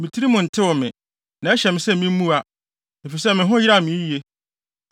Me tirim mu ntew me, na ɛhyɛ me sɛ mimmua efisɛ me ho yeraw me yiye.